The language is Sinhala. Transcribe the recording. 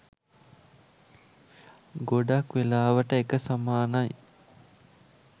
ගොඩක් වෙලාවට එක සමානයි